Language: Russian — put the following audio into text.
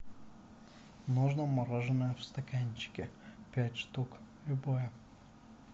можно мороженое в стаканчике пять штук любое